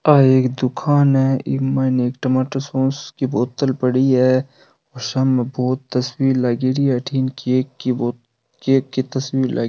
आ एक दुकान है इक माइन एक टमाटर सॉस की बोतल पड़ी है उसमे बहुत तस्वीर लागेड़ी है अठन एक केक की तस्वीर ला --